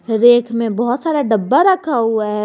Rake में बहोत सारा डब्बा रखा हुआ है।